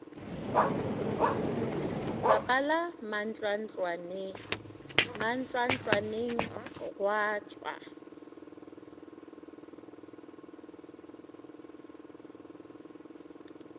bapala mantlwantlwane mantlwantlwaneng gwa tšwa